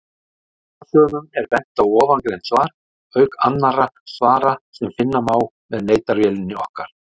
Áhugasömum er bent á ofangreint svar, auk annarra svara sem finna má með leitarvélinni okkar.